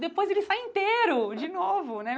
Depois ele sai inteiro de novo, né?